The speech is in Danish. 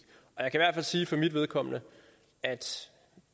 hvert fald sige for mit vedkommende at